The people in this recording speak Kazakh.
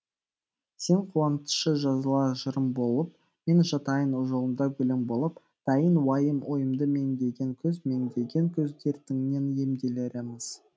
сен қуантшы жазылар жырым болып мен жатайын жолыңда гүлің болып дайын уайым ойымды меңдеген күз меңдеген күз дертіңнен емделерміз